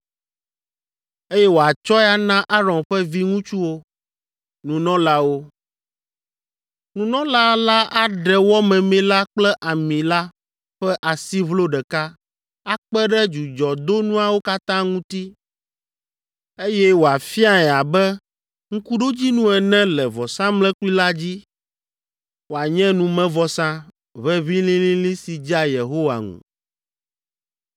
eye wòatsɔe ana Aron ƒe viŋutsuwo, nunɔlawo. Nunɔla la aɖe wɔ memee la kple ami la ƒe asiʋlo ɖeka akpe ɖe dzudzɔdonuawo katã ŋuti, eye wòafiae abe ŋkuɖodzinu ene le vɔsamlekpui la dzi, wòanye numevɔsa, ʋeʋĩ lĩlĩlĩ si dzea Yehowa ŋu.